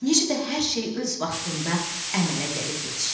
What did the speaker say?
Necə də hər şey öz vaxtında əmələ gəlib yetişir.